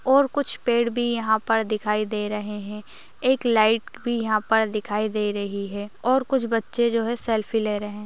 और कुछ पेड़ भी यहाँ पर दिखाई दे रहे है एक लाइट भी यहाँ पर दिखाई दे रही है और कुछ बच्चे जो है सेल्फी ले रहे ।